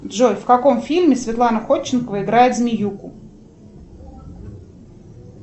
джой в каком фильме светлана ходченкова играет змеюку